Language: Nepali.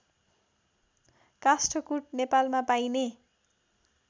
काष्ठकुट नेपालमा पाइने